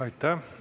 Aitäh!